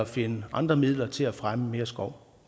finde andre midler til at fremme mere skov